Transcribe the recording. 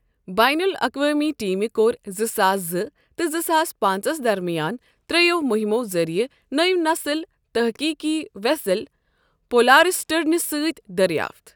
بین الاقوٲمی ٹیٖمہِ کوٚر زٕ ساس زٕ تہٕ زٕ ساس پانٛژَس درمیان ترٛٮ۪و مُہِِمَو ذٔریعہٕ نٔوۍ نسل تحقیٖقی ویسل پولارسٹرنہٕ سۭتۍ دریافت۔